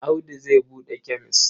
Audu zai buɗe kemes.